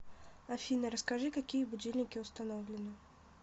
афина расскажи какие будильники установлены